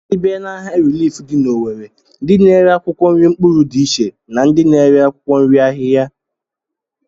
Ị bịa n'ahịa rilif dị n'Owere, ndị na-ere akwụkwọ nri mkpụrụ dị iche na ndị na-ere akwụkwọ nri ahịhịa